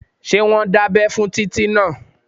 Ṣé wọ́n dábẹ́ fún Títí náà?